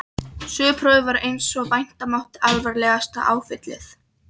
Söguprófið varð einsog vænta mátti alvarlegasta áfallið.